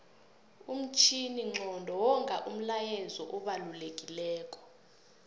umtjhininqondo wonga umlayezu obalekilelo